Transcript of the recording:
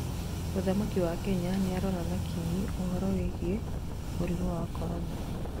mũthamaki wa Kenya nĩarora na kinyi ũhoro wĩgiĩ mũrimũ wa Korona